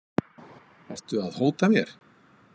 Ertu að hóta mér?